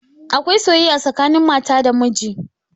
Akwai soyayya tsakanin mata da miji